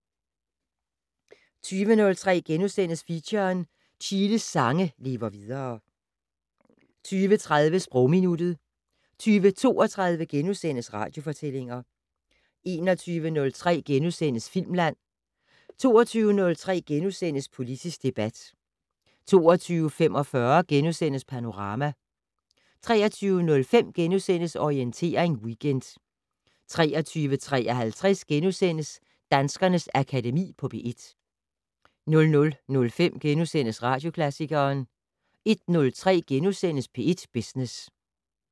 20:03: Feature: Chiles sange lever videre * 20:30: Sprogminuttet 20:32: Radiofortællinger * 21:03: Filmland * 22:03: Politisk debat * 22:45: Panorama * 23:05: Orientering Weekend * 23:53: Danskernes Akademi på P1 * 00:05: Radioklassikeren * 01:03: P1 Business *